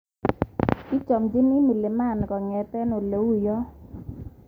Kichomchini mlimani kongete oleuyo.